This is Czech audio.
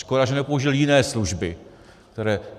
Škoda, že nepoužil jiné služby, které...